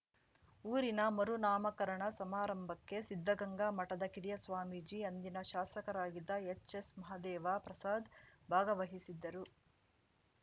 ಊರಿನ ಮರುನಾಮಕರಣ ಸಮಾರಂಭಕ್ಕೆ ಸಿದ್ಧಗಂಗಾ ಮಠದ ಕಿರಿಯ ಸ್ವಾಮೀಜಿ ಅಂದಿನ ಶಾಸಕರಾಗಿದ್ದ ಎಚ್‌ಎಸ್‌ಮಹದೇವ ಪ್ರಸಾದ್‌ ಭಾಗವಹಿಸಿದ್ದರು